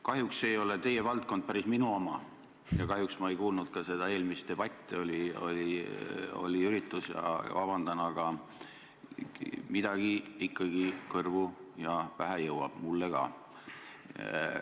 Kahjuks ei ole teie valdkond päris minu oma ja kahjuks ma ei kuulnud ka eelnenud debatti – vabandust, mul oli üritus –, aga midagi ikkagi kõrvu ja pähe jõuab mulle ka.